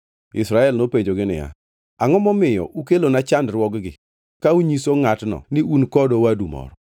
Israel nopenjogi niya, “Angʼo ma omiyo ukelona chandruogni ka unyiso ngʼatno ni un kod owadu moro?”